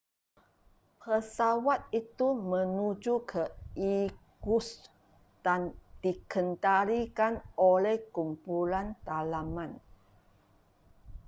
pesawat itu menuju ke irkutsk dan dikendalikan oleh kumpulan dalaman